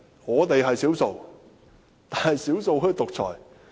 我們是少數，但少數竟可以獨裁？